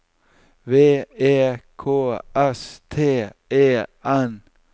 V E K S T E N